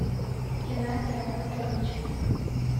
геннадия анатольевича